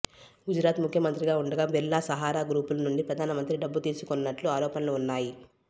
గుజరాత్ ముఖ్యమంత్రిగా ఉండగా బిర్లా సహారా గ్రూపుల నుండి ప్రధానమంత్రి డబ్బు తీసుకొన్నట్లు ఆరోపణలు ఉన్నాయి